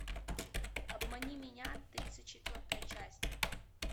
обмани меня тридцать четвертая часть